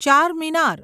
Charminar